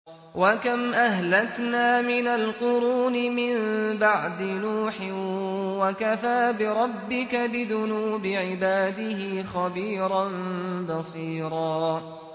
وَكَمْ أَهْلَكْنَا مِنَ الْقُرُونِ مِن بَعْدِ نُوحٍ ۗ وَكَفَىٰ بِرَبِّكَ بِذُنُوبِ عِبَادِهِ خَبِيرًا بَصِيرًا